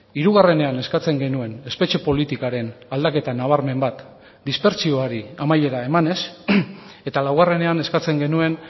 hirugarrenean eskatzen genuen espetxe politikaren aldaketa nabarmen bat dispertsioari amaiera emanez eta laugarrenean eskatzen genuen